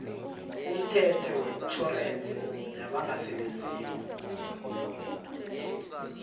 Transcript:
umthetho wetjhorensi yabangasebenziko